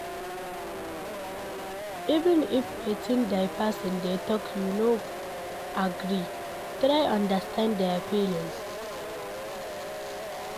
Even if wetin di person dey talk you no agree, try understand their feelings